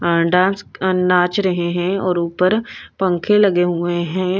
अ dance अ नाच रहे हैं और ऊपर पंखे लगे हुए हैं।